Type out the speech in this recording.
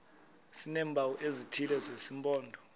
sineempawu ezithile zesimpondo